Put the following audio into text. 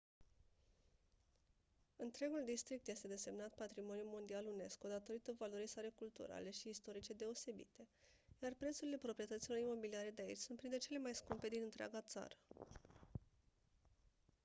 întregul district este desemnat patrimoniu mondial unesco datorită valorii sale culturale și istorice deosebite iar prețurile proprietăților imobiliare de aici sunt printre cele mai scumpe din întreaga țară